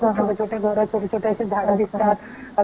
अच्छा आणि मी पुन्हा डास बद्दल पण एकल होत इथे